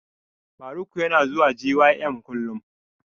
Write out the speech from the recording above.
Faruk yana zuwa gym kullum